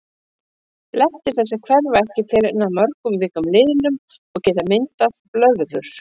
Blettir þessir hverfa ekki fyrr en að mörgum vikum liðnum og geta myndað blöðrur.